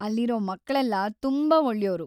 ಅಲ್ಲಿರೋ ಮಕ್ಳೆಲ್ಲ ತುಂಬಾ ಒಳ್ಳೆಯೋರು.